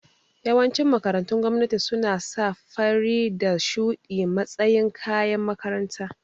Yawancin makarantun gwamnati suna sa fari da shuɗi matsayin kayan makaranta